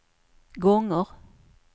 gånger